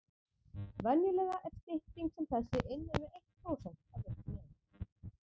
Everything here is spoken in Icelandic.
Venjulega er stytting sem þessi innan við eitt prósent af virkri lengd.